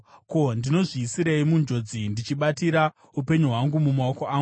Ko, ndinozviisirei munjodzi ndichibatira upenyu hwangu mumaoko angu?